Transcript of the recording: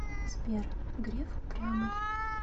сбер греф упрямый